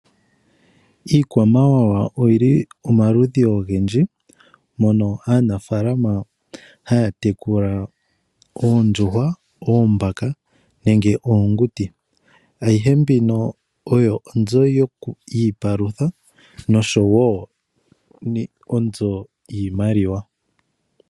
Iikwamawawa oyili omaludhi ogendji mono aanafaalama haya tekula oondjuhwa, oombaka nenge oonguti. Ayihe mbino oyo oonzo yiipalutha oshowo onzo yiimaliwa.